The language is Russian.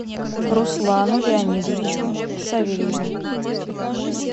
руслану леонидовичу савельеву